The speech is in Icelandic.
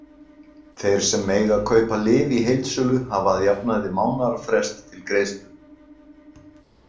Þeir sem mega kaupa lyf í heildsölu hafa að jafnaði mánaðarfrest til greiðslu.